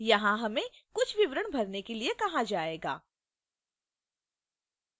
यहां हमें कुछ विवरण भरने के लिए कहा जाएगा